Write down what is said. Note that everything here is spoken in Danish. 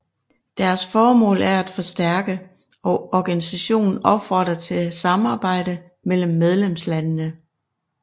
Deres formål er at forstærke og organisationen opfordrer til samarbejde mellem medlemslandene